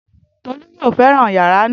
Tolú yóò fẹ́ràn yàrá náà